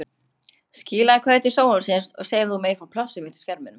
Skilaðu kveðju til sjónvarpsins og segðu þeim að þú megir fá plássið mitt á skerminum.